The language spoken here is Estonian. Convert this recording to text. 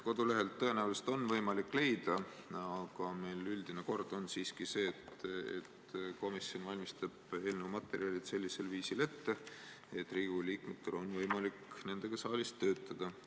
Kodulehelt tõenäoliselt on võimalik leida, aga meil on üldine kord siiski see, et komisjon valmistab eelnõu materjalid sellisel viisil ette, et Riigikogu liikmetel on võimalik nendega saalis töötada.